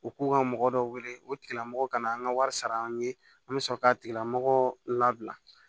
U k'u ka mɔgɔ dɔ wele o tigilamɔgɔ ka na an ka wari sara an ye an bɛ sɔrɔ k'a tigilamɔgɔ labila